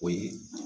O ye